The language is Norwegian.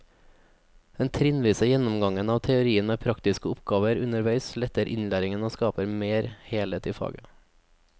Den trinnvise gjennomgangen av teorien med praktiske oppgaver underveis letter innlæringen og skaper mer helhet i faget.